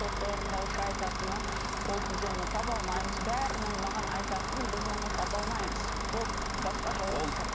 сот орындаушы айтатыны ол біз оны таба алмаймыз бәрінің маған айтатыны біз оны таба алмаймыз болды басқа жауап жоқ